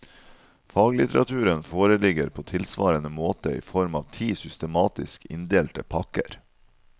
Faglitteraturen foreligger på tilsvarende måte i form av ti systematisk inndelte pakker.